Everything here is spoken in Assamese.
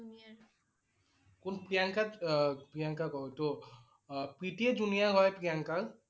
কোন প্ৰিয়ংকা আহ প্ৰিয়ানকা ক~ত আহ প্ৰীতি এ junior হয় প্ৰীয়ানকৰ।